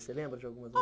Você lembra de alguma